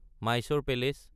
Mysore palace